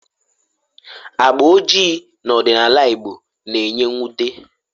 Agba ojii n'ọdịnala Igbo na-enye mwute